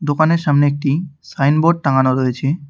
দোকানের সামনে একটি সাইন বোর্ড টাঙানো রয়েছে।